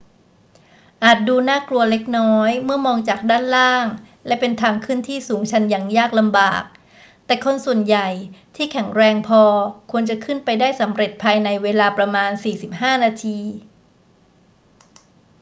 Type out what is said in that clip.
อาจดูน่ากลัวเล็กน้อยเมื่อมองจากด้านล่างและเป็นทางขึ้นที่สูงชันและยากลำบาก แต่คนส่วนใหญ่ที่แข็งแรงพอควรจะขึ้นไปได้สำเร็จภายในเวลาประมาณ 45 นาที